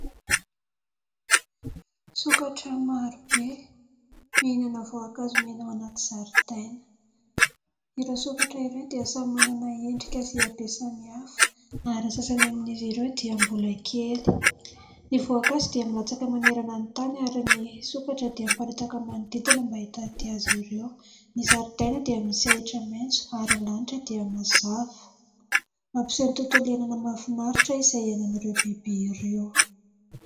Sokatra marobe mihinana voankazo mena ao anaty zaridaina. Ireo sokatra ireo dia samy manana endrika sy habetsan'ny hafa ary sasany amin'izy ireo dia mbola kely. Ny voankazo dia milatsaka manerana ny tany ary ny sokatra dia miparitaka manodidina mba hitady aza ireo. Ny zaridaina dia misy ahitra maitso ary lanitra dia mazava. Mampiseho ny tontolo iainana mahafinaritra izay iainan'ireo biby ireo.